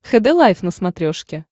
хд лайф на смотрешке